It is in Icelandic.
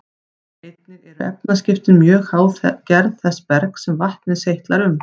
Einnig eru efnaskiptin mjög háð gerð þess bergs sem vatnið seytlar um.